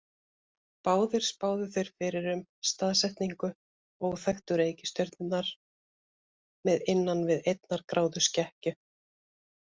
Báðir spáðu þeir fyrir um staðsetningu óþekktu reikistjörnunnar með innan við einnar gráðu skekkju.